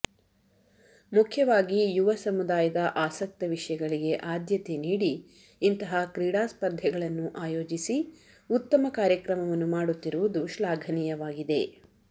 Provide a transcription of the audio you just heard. ಮುಖ್ಯವಾಗಿ ಯುವ ಸಮುದಾಯದ ಆಸಕ್ತ ವಿಷಯಗಳಿಗೆ ಆದ್ಯತೆ ನೀಡಿ ಇಂತಹ ಕ್ರೀಡಾ ಸ್ಪರ್ಧೆಗಳನ್ನು ಆಯೋಜಿಸಿ ಉತ್ತಮ ಕಾರ್ಯಕ್ರಮವನ್ನು ಮಾಡುತ್ತಿರುವುದು ಶ್ಲಾಘನೀಯವಾಗಿದೆ